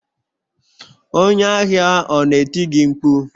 Onye ahịa ọ na-eti gị mkpu?